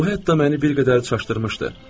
Bu hətta məni bir qədər çaşdırmışdı.